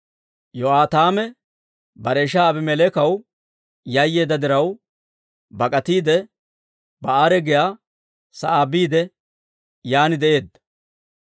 Yo'aataame bare ishaa Aabimeleekaw yayyeedda diraw, bak'atiide Ba'eera giyaa sa'aa biide yaan de'eedda.